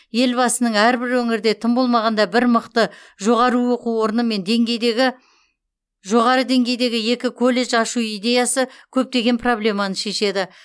елбасының әрбір өңірде тым болмағанда бір мықты жоғары оқу орны мен жоғары деңгейдегі екі колледж ашу идеясы көптеген проблеманы шешеді